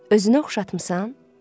Özünə oxşatmısan?